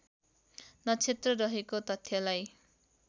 नक्षत्र रहेको तथ्यलाई